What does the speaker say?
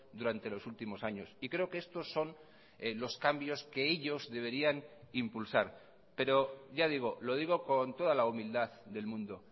durante los últimos años y creo que estos son los cambios que ellos deberían impulsar pero ya digo lo digo con toda la humildad del mundo